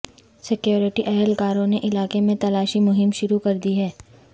security اہلکاروں نے علاقے میں تلاشی مہم شروع کر دی ہے